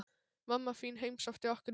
Mamma þín heimsótti okkur í morgun.